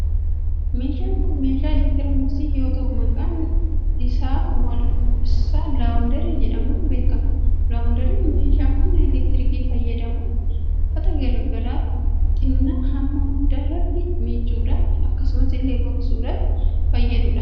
Meeshaan kun meeshaa elektirooniksii yoo ta'u, maqaan isaalaawundarii jedhamuun beekama. Laawunderiin meeshaa humna elektirikii fayyadamuun uffataa garaagaraa xinaa hamma gudaartti micuudhaa fi akkasuma illee gogsuudhaaf fayyaduudha. Gatiin meeshaa kanaas tajaajila inni kennu irraa yoo ilaaalle baay'ee gaariidha.